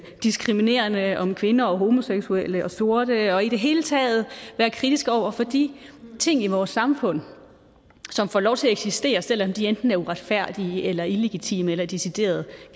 diskriminerende om kvinder og homoseksuelle og sorte og i det hele taget være kritisk over for de ting i vores samfund som får lov til at eksistere selv om de enten er uretfærdige eller illigitime eller decideret